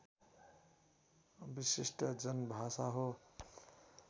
विशिष्ट जनभाषा हो